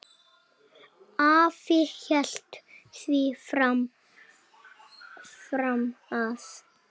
Afi hélt því fram að